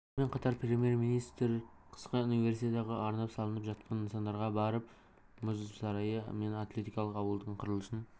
сонымен қатар премьер-министр қысқы универсиадаға арнап салынып жатқан нысандарда болып мұз сарайы мен атлетикалық ауылдың құрылысын